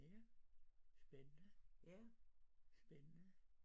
Ja spændende spændende